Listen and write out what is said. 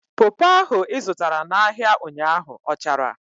Popo ahụ ị zụtara n'ahia ụnyaahụ ọ chara?